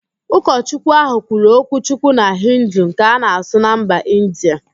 Ụkochukwu ahụ kwuru okwuchukwu na Hindu nke a na-asụ na mba Indịa